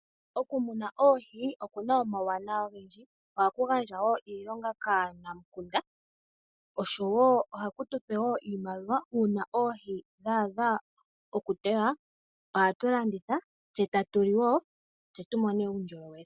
Okumuna oohi oku na omawuwanawa ogendji, ohaku gandja wo iilonga kaanamukunda, oshowo ohaku tupe iimaliwa uuna oohi dha adha okutewa ohatulanditha tse tatuli wo tse tumone uundjolowele.